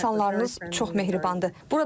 İnsanlarınız çox mehribandır.